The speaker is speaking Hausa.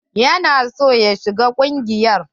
Ya na son ya shiga ƙungiyar.